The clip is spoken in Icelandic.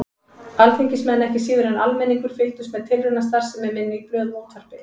Alþingismenn, ekki síður en almenningur, fylgdust með tilraunastarfsemi minni í blöðum og útvarpi.